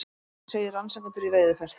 Segir rannsakendur í veiðiferð